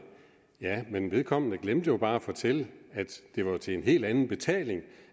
ja men vedkommende glemte jo bare at fortælle at det var til en helt anden betaling